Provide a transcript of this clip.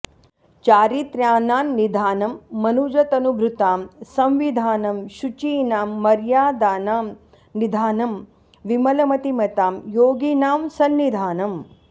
चारित्र्याणां निधानं मनुजतनुभृतां संविधानं शुचीनां मर्यादानां निधानं विमलमतिमतां योगिनां सन्निधानम्